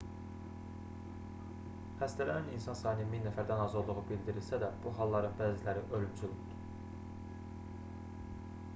xəstələnən insan sayının 1000 nəfərdən az olduğu bildirilsə də bu halların bəziləri ölümcül oldu